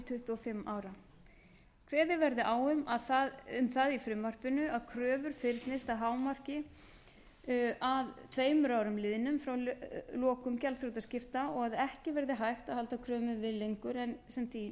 tuttugu og fimm ára kveðið verði á um það í frumvarpinu að kröfur fyrnist að hámarki að tveimur árum liðnum frá lokum gjaldþrotaskipta og að ekki verði hægt að halda kröfum við lengur en sem